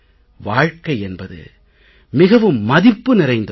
வாழ்கை என்பது மிகவும் மதிப்பு நிறைந்த ஒன்று